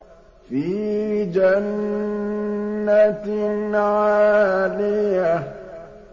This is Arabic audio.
فِي جَنَّةٍ عَالِيَةٍ